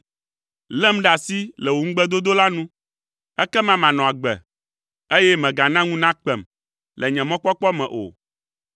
Lém ɖe asi le wò ŋugbedodo la nu, ekema manɔ agbe, eye mègana ŋu nakpem le nye mɔkpɔkpɔ me o.